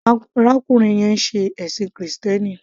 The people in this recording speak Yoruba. Awon arákùnrin yẹn ń ṣe ẹ̀ṣìn krìstẹ́nì.